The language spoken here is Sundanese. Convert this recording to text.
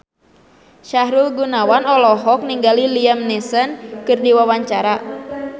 Sahrul Gunawan olohok ningali Liam Neeson keur diwawancara